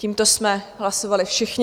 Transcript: Tímto jsme hlasovali všichni.